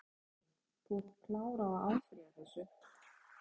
Kristinn Hrafnsson: Þú ert klár á að áfrýja þessu?